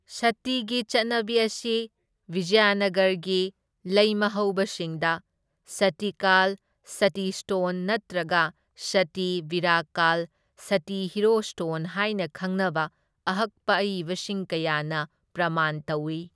ꯁꯇꯤꯒꯤ ꯆꯠꯅꯕꯤ ꯑꯁꯤ ꯕꯤꯖꯌꯅꯒꯔꯒꯤ ꯂꯩꯃꯍꯧꯕꯁꯤꯡꯗ ꯁꯇꯤꯀꯥꯜ ꯁꯇꯤ ꯁ꯭ꯇꯣꯟ ꯅꯠꯇ꯭ꯔꯒ ꯁꯇꯤ ꯕꯤꯔꯥꯀꯥꯜ ꯁꯇꯤ ꯍꯤꯔꯣ ꯁ꯭ꯇꯣꯟ ꯍꯥꯏꯅ ꯈꯪꯅꯕ ꯑꯍꯛꯄ ꯑꯏꯕꯁꯤꯡ ꯀꯌꯥꯅ ꯄ꯭ꯔꯃꯥꯟ ꯇꯧꯏ꯫